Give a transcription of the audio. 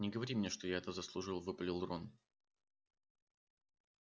не говори мне что я это заслужил выпалил рон